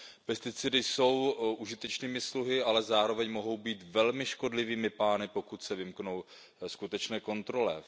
Pesticidy jsou užitečnými sluhy, ale zároveň mohou být velmi škodlivými pány, pokud se vymknou skutečné kontrole.